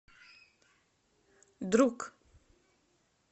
друг